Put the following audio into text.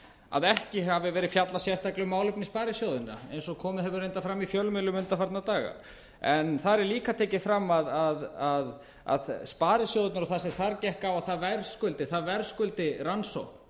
að ekki hafi verið fjallað sérstaklega um málefni sparisjóðanna eins og komið hefur reyndar fram í fjölmiðlum undanfarna daga en þar er líka tekið fram að sparisjóðirnir og það sem þar gekk á það verðskuldi það verðskuldi rannsókn